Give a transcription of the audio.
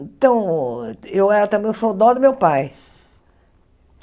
Então, eu era o xodó do meu pai.